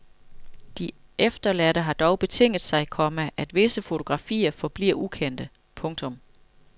De efterladte har dog betinget sig, komma at visse fotografier forbliver ukendte. punktum